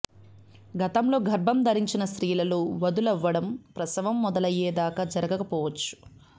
గతంలో గర్భం ధరించిన స్త్రీలలో వదులవ్వడం ప్రసవం మొదలయ్యే దాకా జరగక పోవచ్చు